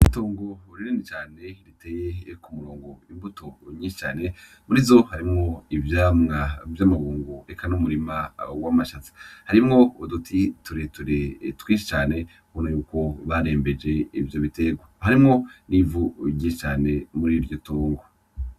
Itongo rinini cane riteye ku murongo imbuto nyinshi cane, muri zo harimwo ivyamwa vy'amabungo eka n'umurima w'amashaza harimwo uduti tureture twinshi cane ubona yuko barembeje ivyo bitegwa harimwo n'ivu ryinshi cane muri iryo tongo.